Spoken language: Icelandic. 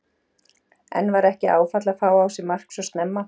En var ekki áfall að fá á sig mark svo snemma?